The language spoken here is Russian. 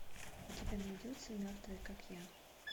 у тебя найдется мертвые как я